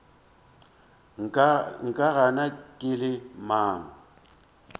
nka gana ke le mang